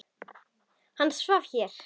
Hann svaf hér.